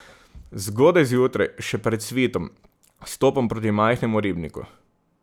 Zgodaj zjutraj, še pred svitom, stopam proti majhnemu ribniku.